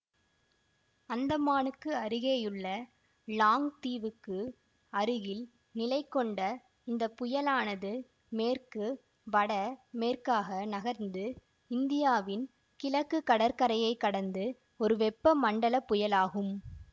அந்தமானுக்கு அருகேயுள்ள லாங் தீவுக்கு அருகில் நிலைகொண்ட இந்த புயலானது மேற்கு வட மேற்காக நகர்ந்து இந்தியாவின் கிழக்கு கடற்கரையைக் கடந்து ஒரு வெப்ப மண்டல புயலாகும்